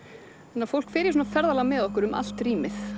þannig að fólk fer í ferðalag með okkur um allt rýmið